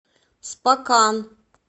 спокан